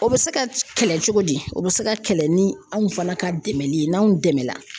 O bɛ se ka kɛlɛ cogo di, o bɛ se ka kɛlɛ ni anw fana ka dɛmɛli ye n'anw dɛmɛla.